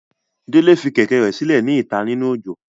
Dele fi kẹ̀kẹ́ rẹ silẹ ni ita ninu ojo.